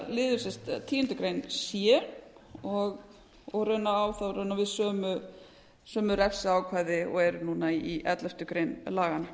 liður tíundu grein c og raunar á þá við sömu refsiákvæði og eru núna í elleftu grein laganna